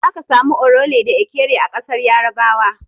Zaka samu Orele da Ekere a ƙasar Yarabawa.